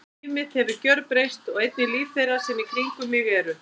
Líf mitt hefur gjörbreyst og einnig líf þeirra sem í kringum mig eru.